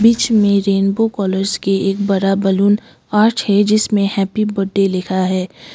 बीच में rainbow colours की एक बड़ा बलून आर्ट है जिसमें हैप्पी बर्डे लिखा है।